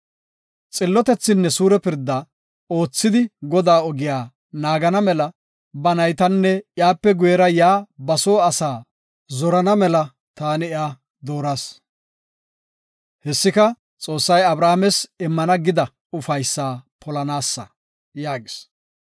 Xillotethinne suure pirda oothidi Godaa ogiya naagana mela ba naytanne iyape guyera yaa ba soo asaa zorana mela taani iya dooras. Hessika, Xoossay Abrahaames immana gida ufaysa polanaasa” yaagis.